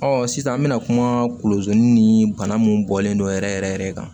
Ɔ sisan an bɛna kuma kolon ni bana min bɔlen don yɛrɛ yɛrɛ yɛrɛ kan